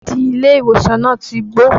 Bẹ́ẹ̀dì ilé ìwòsàn náà ti gbó